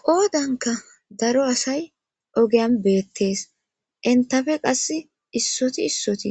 qoodanka daro asay ogeyan beettees entafe qass issoti issoti